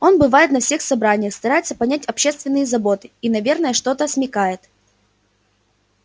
он бывает на всех собраниях старается понять общественные заботы и наверно что-то смекает